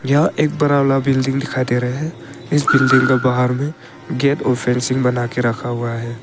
यहां एक बड़ा बिल्डिंग दिखाई दे रहे है इस बिल्डिंग को बाहर में गेट और फिनिशिंग बना के रखा हुआ है।